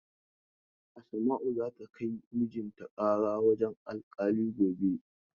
Asma'u za ta kai mijin ta ƙara wurin alkali gobe.